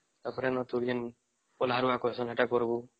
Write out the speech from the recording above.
ତାର ପରେ ନ ତୁରଂଗୀନ ପୋଲହାର ବା କର୍ଷଣ ଏଟା କରିବୁ